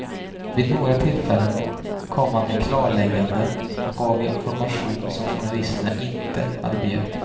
Vid några tillfällen kom han med klarlägganden och gav information som journalisterna inte hade begärt.